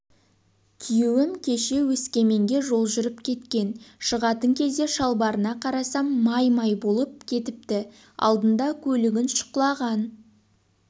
күйеуім кеше өскеменге жол жүріп кеткен шығатын кезде шалбарына қарасам май-май болып кетіпті алдында көлігін шұқылаған